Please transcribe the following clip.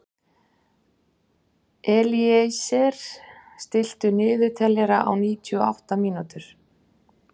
Elíeser, stilltu niðurteljara á níutíu og átta mínútur.